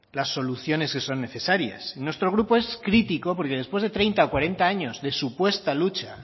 las soluciones que son necesarias y nuestro grupo es crítico porque después de treinta o cuarenta años de supuesta lucha